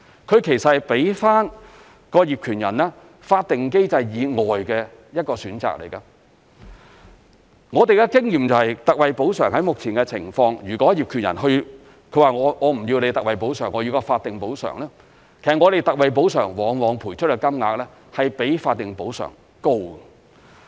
它給予業權人在法定機制以外的一個選擇。我們的經驗是，特惠補償目前的情況，如果業權人不要特惠補償，而選擇法定補償，其實我們特惠補償往往賠出的金額是較法定補償高的。